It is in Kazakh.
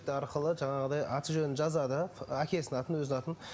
арқылы жаңағыдай аты жөнін жазады әкесінің атын өзінің атын